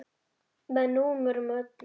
Með númerum og öllu.